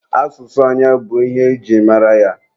Asụsụ onye bụ ihe e ji mara ya.